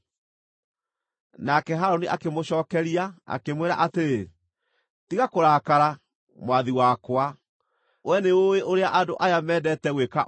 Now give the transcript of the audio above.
Nake Harũni akĩmũcookeria, akĩmwĩra atĩrĩ, “Tiga kũrakara, mwathi wakwa; wee nĩũũĩ ũrĩa andũ aya mendete gwĩka ũũru.